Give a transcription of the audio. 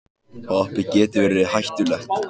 Hoppið getur verið hættulegt